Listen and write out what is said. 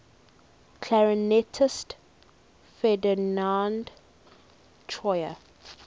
clarinetist ferdinand troyer